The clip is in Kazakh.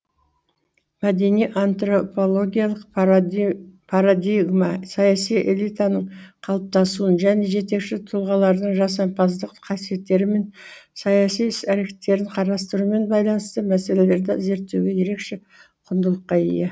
мәдени антропологиялық парадигма саяси элитаның калыптасуын және жетекші тұлғалардың жасампаздық қасиеттері мен саяси іс әрекеттерін карастырумен байланысты мәселелерді зерттеуде ерекше құндылықка ие